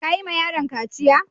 Ka yi ma yaron kaciya?